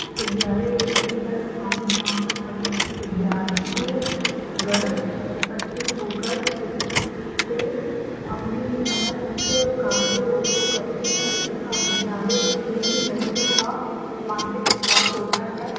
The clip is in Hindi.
विद्यालय एक ऐसा स्थान हैजहाँ पर समस्त विद्यार्थीय गण उपस्थित होकर शिक्षक से अपने समस्त कार्यों को करते हैं तथा विद्यालय में ही बैठने का मानसिक विकास होता है|